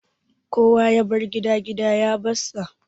Kowa ya bar gida, gida ya bar sa